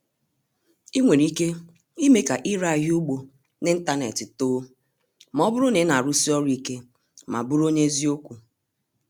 Ị nwere ike ime ka ire ahịa ugbo n'ịntanetị too ma ọ bụrụ na ị na-arụsi ọrụ ike ma bụrụ onye eziokwu.